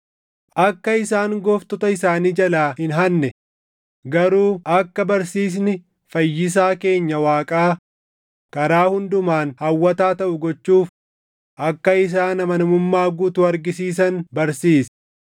akka isaan gooftota isaanii jalaa hin hanne, garuu akka barsiisni Fayyisaa keenya Waaqaa karaa hundumaan hawwataa taʼu gochuuf akka isaan amanamummaa guutuu argisiisan barsiisi.